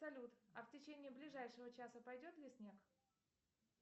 салют а в течение ближайшего часа пойдет ли снег